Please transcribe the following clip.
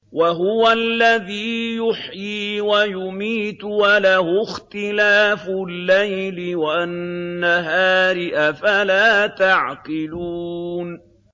وَهُوَ الَّذِي يُحْيِي وَيُمِيتُ وَلَهُ اخْتِلَافُ اللَّيْلِ وَالنَّهَارِ ۚ أَفَلَا تَعْقِلُونَ